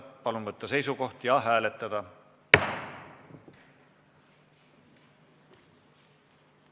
Palun võtta seisukoht ja hääletada!